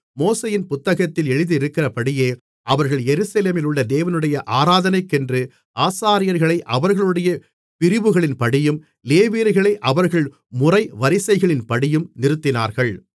மோசேயின் புத்தகத்தில் எழுதியிருக்கிறபடியே அவர்கள் எருசலேமிலுள்ள தேவனுடைய ஆராதனைக்கென்று ஆசாரியர்களை அவர்களுடைய பிரிவுகளின்படியும் லேவியர்களை அவர்கள் முறைவரிசைகளின்படியும் நிறுத்தினார்கள்